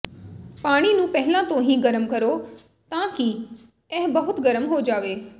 ਪਾਣੀ ਨੂੰ ਪਹਿਲਾਂ ਤੋਂ ਹੀ ਗਰਮ ਕਰੋ ਤਾਂ ਕਿ ਇਹ ਬਹੁਤ ਗਰਮ ਹੋ ਜਾਵੇ